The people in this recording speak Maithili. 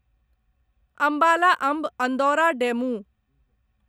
अंबाला अम्ब अन्दौरा डेमू